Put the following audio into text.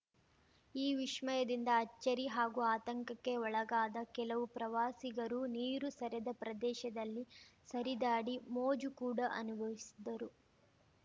ಈ ವಿಶ್ಮಯದಿಂದ ಅಚ್ಚರಿ ಹಾಗೂ ಆತಂಕಕ್ಕೆ ಒಳಗಾದ ಕೆಲವು ಪ್ರವಾಸಿಗರು ನೀರು ಸರೆದ ಪ್ರದೇಶದಲ್ಲಿ ಸರಿದಾಡಿ ಮೋಜು ಕೂಡ ಅನುಭವಿಸಿದರು